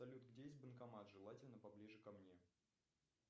салют где есть банкомат желательно поближе ко мне